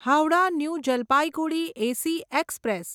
Howrah New Jalpaiguri AC express